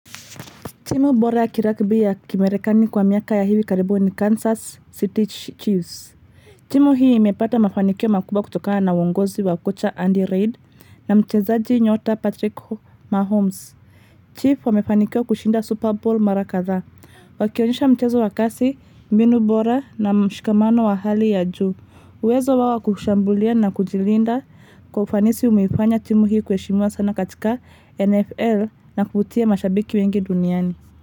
Timu bora ya kiragbi ya kimerekani kwa miaka ya hivi karibu ni Kansas City Chiefs. Timu hii imepata mafanikio makubwa kutokana uongozi wa kocha Andy Reid na mchezaji nyota Patrick Mahomes. Chief wamefanikiwa kushinda Super Bowl mara kadhaa Wakionyesha mchezo wa kasi, mbinu bora, na mshikamano wabhali ya juu. Uwezo wao wa kushambulia na kujilinda kwa ufanisi umeifanya timu hii kuheshimiwa sana katika NFL na kuvutia mashabiki wengi duniani.